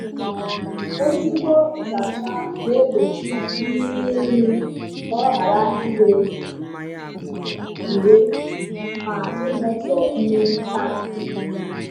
Ezigbo nzacha na-egbochi irighiri nri ka ọ ghara ire ure ma imetọ mmiri tankị.